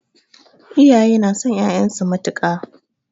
Iyaye na son ƴaƴan su matuƙa